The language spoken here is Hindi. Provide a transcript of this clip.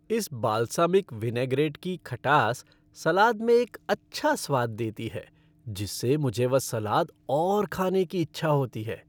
इस बाल्सामिक विनैग्रेट की खटास सलाद में एक अच्छा स्वाद देती है जिससे मुझे वह सलाद और खाने की इच्छा होती है।